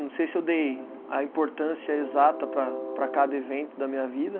Não sei se eu dei a importância exata para para cada evento da minha vida.